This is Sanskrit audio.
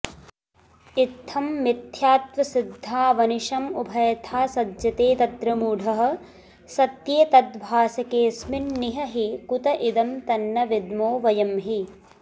इत्थं मिथ्यात्वसिद्धावनिशमुभयथा सज्जते तत्र मूढः सत्ये तद्भासकेऽस्मिन्निह हि कुत इदं तन्न विद्मो वयं हि